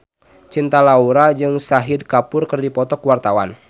Cinta Laura jeung Shahid Kapoor keur dipoto ku wartawan